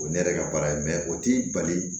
O ye ne yɛrɛ ka baara ye o t'i bali